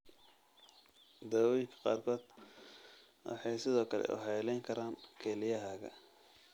Daawooyinka qaarkood waxay sidoo kale waxyeeleyn karaan kelyahaaga.